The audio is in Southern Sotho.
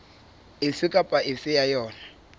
efe kapa efe ya yona